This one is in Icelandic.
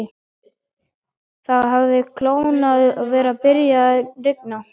Það hafði kólnað og var byrjað að rigna.